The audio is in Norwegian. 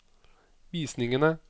visningene